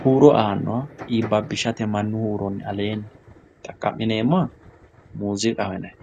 huuro aanoha iibabishate manu huuronni alleenni xaqami'neemoha muuzziiqqaho yinay